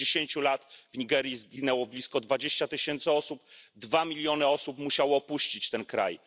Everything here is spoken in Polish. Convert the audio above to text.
W ciągu dziesięciu lat w Nigerii zginęło blisko 20 tysięcy osób, zaś dwa miliony osób musiały opuścić ten kraj.